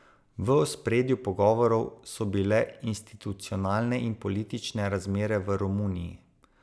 V ospredju pogovorov so bile institucionalne in politične razmere v Romuniji.